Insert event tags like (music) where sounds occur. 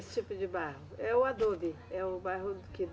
Esse tipo de barro? É o, (unintelligible) é o barro que